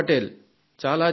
చాలా చిన్నపిల్ల